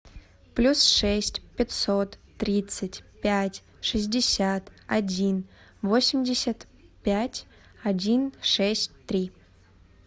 плюс шесть пятьсот тридцать пять шестьдесят один восемьдесят пять один шесть три